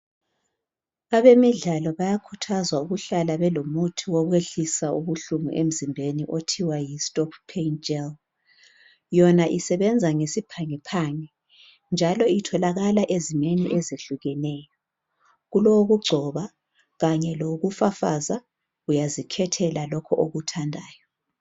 Abemidlalo bayakhuthazwa ukuthi bahlale belomuthi wokwehlisa ubuhlungu okuthiwa Yi stop pain gel yona isebenza ngesiphangiphangi njalo utholakala ezimeni ezehlukeneyo kulowokugcoba lowokufafaza uyazikhethela lokho okuthandayo.